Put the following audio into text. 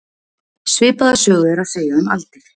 Svipaða sögu er að segja um aldir.